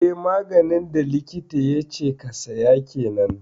Eh maganin da likita yace ka siya kenan